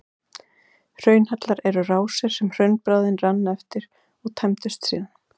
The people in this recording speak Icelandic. Hraunhellar eru rásir sem hraunbráðin rann eftir og tæmdust síðan.